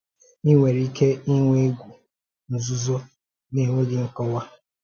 Ị nwere ike ịnwe égwù nzúzò, na ènweghị nkọ́wa?